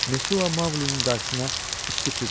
Mesua Maqlinin qarşısına isti süd qoydu.